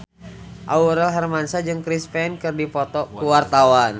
Aurel Hermansyah jeung Chris Pane keur dipoto ku wartawan